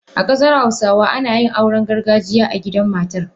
A kasar hausawa ana yin auren gargajiya a gidan matar.